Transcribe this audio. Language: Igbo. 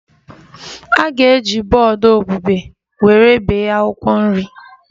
A ga-eji bọọdụ obube were bee akwụkwọ nri